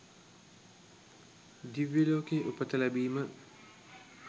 දිව්‍ය ලෝකයේ උපත ලැබීම